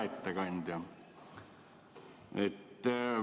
Hea ettekandja!